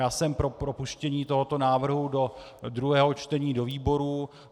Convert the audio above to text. Já jsem pro propuštění tohoto návrhu do druhého čtení do výborů.